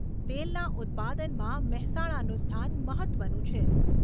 તેલના ઉત્પાદનમાં મહેસાણાનું સ્થાન મહત્ત્વનું છે.